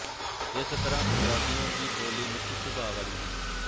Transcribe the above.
ਇਸ ਤਰ੍ਹਾਂ ਪੰਜਾਬੀਆਂ ਦੀ ਬੋਲੀ ਮਿੱਠੇ ਸੁਭਾਅ ਵਾਲੀ ਹੈ